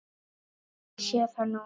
Ég sé það núna!